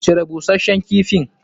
Cire busashshen kifin!